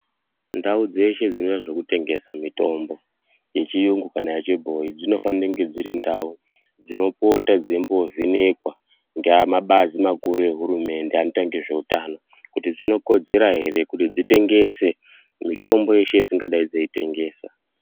Ndau dzeshe dzinoita zvekutengesa mitombo yechiyungu kana yechibhoyi dzinofanira maningi kuva dziri ndau dzinopota dzeimbovhenekwa ngemabazi maningi makuru ehurumende anoita nezve hutano kuti dzinokodzera hre kuti dzitengese mitombo yeshe yadzingadai dzeitengesa.